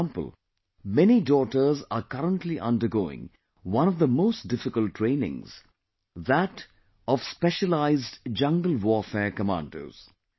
For example, many daughters are currently undergoing one of the most difficult trainings, that of Specialized Jungle Warfare Commandos